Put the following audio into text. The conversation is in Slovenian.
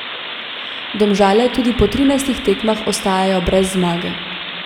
Domžale tudi po trinajstih tekmah ostajajo brez zmage.